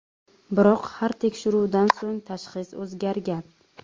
Biroq har tekshiruvdan so‘ng tashxis o‘zgargan.